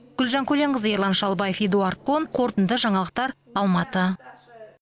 гүлжан көленқызы ерлан шалбаев эдуард кон қорытынды жаңалықтар алматы